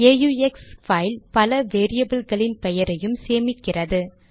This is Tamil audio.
ஆக்ஸ் பைல் பல வேரியபில்களின் பெயரையும் சேமிக்கிறது